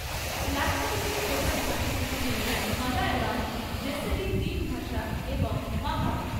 লাক্ষাদ্বীপের প্রধান ভাষাগুলি হল মালায়লাম, জেসেরি দ্বীপ ভাষা এবং মাহল।